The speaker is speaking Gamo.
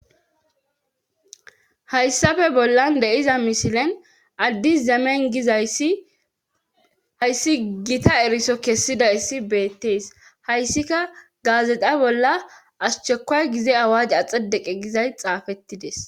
Hayssafe bollan deiza mishilen addis zemen gizayssi hayssi gita eriso kessida issi beettees hayssika gaazexa bolla ashchekoy gize awaj axedeqe gizay xaafettides.